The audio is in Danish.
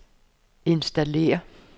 installér